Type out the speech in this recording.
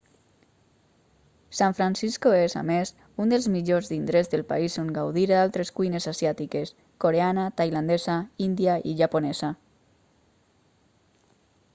san francisco és a més un dels millors indrets del país on gaudir d'altres cuines asiàtiques coreana tailandesa índia i japonesa